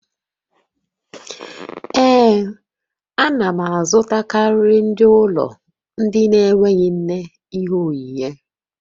Ee, a na m azụtakarị ndị ụlọ ndị na-enweghị nne ihe onyinyé